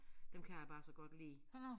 Dem kan jeg bare så godt lide